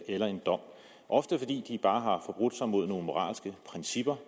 eller en dom ofte fordi de bare har forbrudt sig mod nogle moralske principper